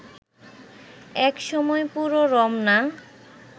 এক সময় পুরো রমনা